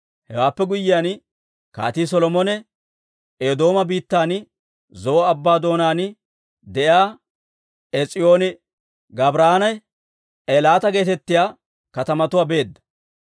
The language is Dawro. Hewaappe guyyiyaan, Kaatii Solomone Eedooma biittan Zo'o Abbaa doonaan de'iyaa Ees'iyooni-Gaabiranne Eelaata geetettiyaa katamatuwaa beedda.